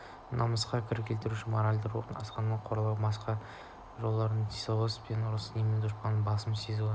намысқа кір келтірушілік моральдық рухтың асқақтығын қорлау масқара болушылық сенімділік соғыс пен ұрыстағы сенімділік дұшпаннан басым түсу сезімі